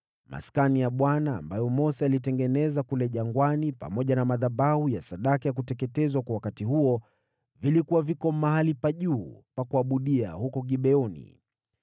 Maskani ya Bwana ambayo Mose aliitengeneza kule jangwani, pamoja na madhabahu ya sadaka ya kuteketezwa kwa wakati huo vilikuwa viko mahali pa juu pa kuabudia huko Gibeoni.